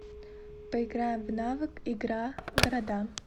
поиграем в навык игра города